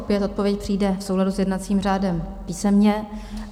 Opět odpověď přijde v souladu s jednacím řádem písemně.